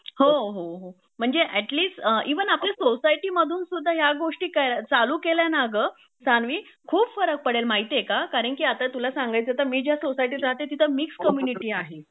हो हो हो म्हणजे ऍटलीस्ट इव्हन आपल्या सोसायटी मधून ह्या गोष्टी चालू केल्या ना अगं सान्वी खूप फरक पडेल माहिती आहे का कारण कि आता तुला सांगायचे तर मी ज्या सोसायटीत राहते तिथं मिक्स कम्म्युनिटी आहे